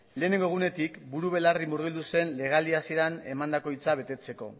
lehenengo egunetik buru belarri murgildu zen legealdi hasieran emandako hitza betetzeko